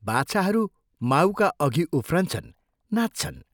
बाछाहरू माठका अभि उफ्रन्छन्, नाच्छन्।